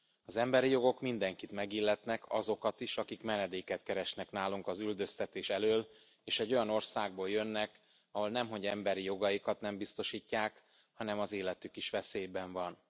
Az emberi jogok mindenkit megilletnek, azokat is, akik menedéket keresnek nálunk az üldöztetés elől, és egy olyan országból jönnek, ahol nemhogy emberi jogaikat nem biztosítják, hanem az életük is veszélyben van.